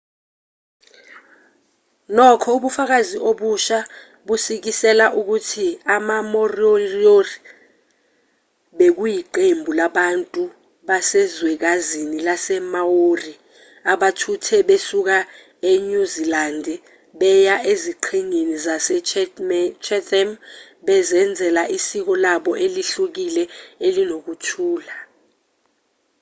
nokho ubufakazi obusha busikisela ukuthi ama-moriori bekuyiqembu labantu basezwekazini lasemaori abathuthe besuka enyuzilandi beya eziqhingini zasechatham bezenzela isiko labo elihlukile elinokuthula